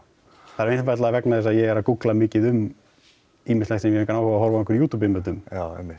það er einfaldlega vegna þess að ég er að gúggla mikið um ýmislegt sem ég hef engan áhuga á að horfa á einhver YouTube myndbönd um já einmitt